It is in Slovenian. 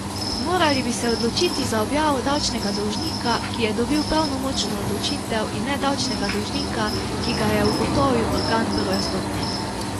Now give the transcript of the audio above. Morali bi se odločiti za objavo davčnega dolžnika, ki je dobil pravnomočno odločitev, in ne davčnega dolžnika, ki ga je ugotovil organ prve stopnje.